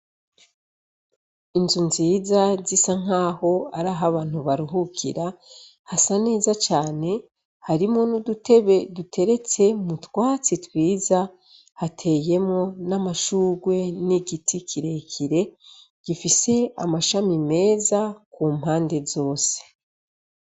Inzu nziza zisa nkaho arah'abantu baruhukira, hasa neza cane harimwo n'udutebe duteretse mutwatsi twiza, hateyemwo n'amashurwe n'igiti kirekire gifise amashami meza kumpande zose.